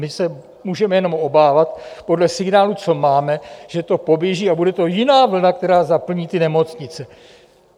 My se můžeme jenom obávat podle signálů, co máme, že to poběží, a bude to jiná vlna, která zaplní ty nemocnice.